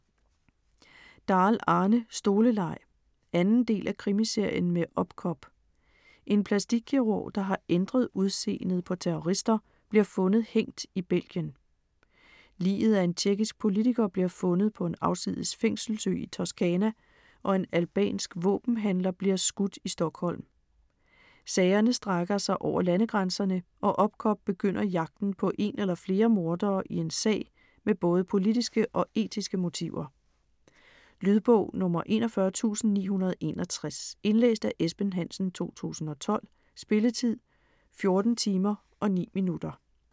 Dahl, Arne: Stoleleg 2. del af Krimiserien med Opcop. En plastikkirurg, der har ændret udseendet på terrorister, bliver fundet hængt i Belgien. Liget af en tjekkisk politiker bliver fundet på en afsides fængselsø i Toscana og en albansk våbenhandler bliver skudt i Stockholm. Sagerne strækker sig over landegrænserne og Opcop begynder jagten på en eller flere mordere i en sag med både politiske og etiske motiver. Lydbog 41961 Indlæst af Esben Hansen, 2012. Spilletid: 14 timer, 9 minutter.